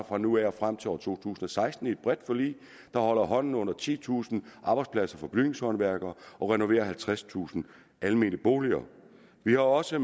fra nu af og frem til år to tusind og seksten i et bredt forlig der holder hånden under titusind arbejdspladser for bygningshåndværkere og renoverer halvtredstusind almene boliger vi har også